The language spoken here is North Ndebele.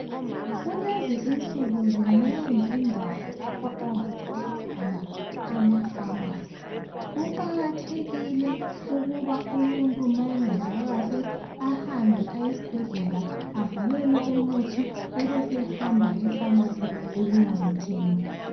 Kulezi izinsuku zinengi indawo lapho ongathola khona amafamasi kuqakathekile ukuba umuntu manye engezwa kahle ahambe esibhedlela abhalwele umuthi ebese hamba efamasi ukuyawu thenga